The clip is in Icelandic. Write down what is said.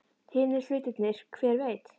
Hinir hlutirnir. hver veit?